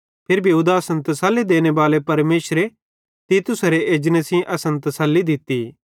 फिरी भी उदासन तसल्ली देनेबाले परमेशरे तीतुसेरे एजने सेइं असन तसल्ली दित्ती